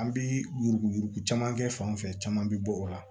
An bi yurugu yurugu caman kɛ fan fɛ caman bi bɔ o la